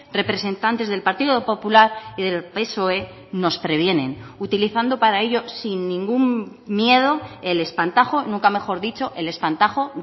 representantes del partido popular y del psoe nos previenen utilizando para ello sin ningún miedo el espantajo nunca mejor dicho el espantajo